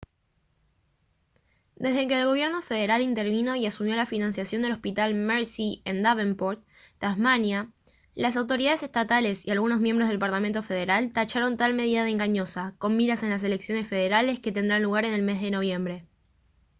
desde que el gobierno federal intervino y asumió la financiación del hospital mersey en davenport tasmania las autoridades estatales y algunos miembros del parlamento federal tacharon tal medida de engañosa con miras en las elecciones federales que tendrán lugar en el mes de noviembre